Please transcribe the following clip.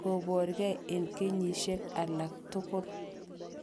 koborkei en kenyisiek alak tugul.